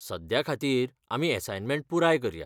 सद्या खातीर, आमी असायनमेंट पुराय करया.